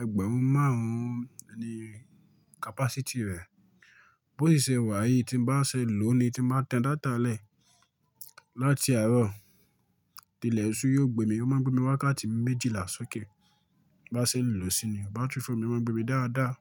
ẹgbẹ̀rún márùn-ún ni capacity rẹ̀. Bó ṣe sèwá yìí tí n bá ṣe lòó ni tí máa tẹ data lẹ̀ láti àárọ̀, dilẹ̀ sú yóò gbé mi. Ó máa ń gbé mi wákàtí méjìlá sókè bí n bá ṣe lò ó sí ní. Batiri fóònù mi máa ń gbé mi dáadáa.